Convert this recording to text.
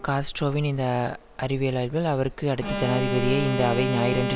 காஸ்ட்ரோவின் இந்த அறிவிலாய்வில் அவருக்கு அடுத்த ஜனாதிபதியை இந்த அவை ஞாயிறன்று